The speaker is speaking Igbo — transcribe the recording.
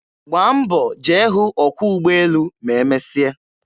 Gbaa mbọ jee hụ ọkwọ ugbọelu ma emesịa.